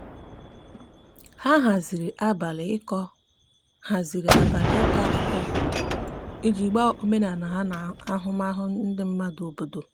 ndi ibi na obodo jiri ọgbako ịntanetị na akpa nkata maka ụzọ aga um esi iwepụ mkpofu na aputa um n'etiti um obodo